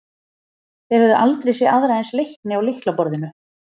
Þeir höfðu aldrei séð aðra eins leikni á lyklaborðinu.